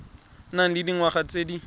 nang le dingwaga tse di